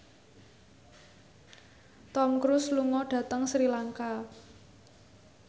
Tom Cruise lunga dhateng Sri Lanka